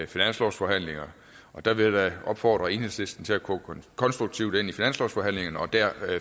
finanslovsforhandlinger og der vil jeg da opfordre enhedslisten til at gå konstruktivt ind i finanslovsforhandlingerne og der